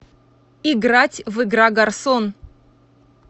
играть в игра гарсон